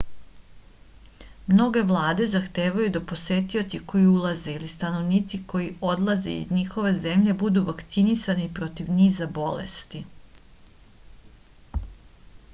mnoge vlade zahtevaju da posetioci koji ulaze ili stanovnici koji odlaze iz njihove zemlje budu vakcinisani protiv niza bolesti